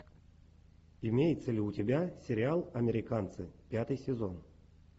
имеется ли у тебя сериал американцы пятый сезон